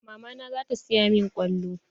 Mama na zata siya min kwallo.